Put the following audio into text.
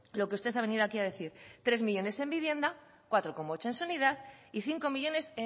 lo que usted ha venido aquí a decir tres millónes en vivienda cuatro coma ocho en sanidad y cinco millónes